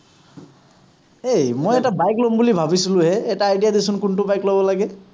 হেই মই এটা bike লম বুলি ভাবিছিলোহে। এটা idea দেচোন কোনটো বাইক ল’ব লাগে।